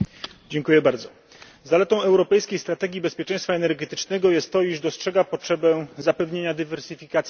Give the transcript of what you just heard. Zaletą europejskiej strategii bezpieczeństwa energetycznego jest to, iż dostrzega potrzebę zapewnienia dywersyfikacji dostaw i źródeł energii.